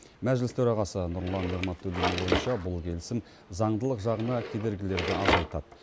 мәжіліс төрағасы нұрлан нығматулиннің ойынша бұл келісім заңдылық жағына кедергілерді азайтады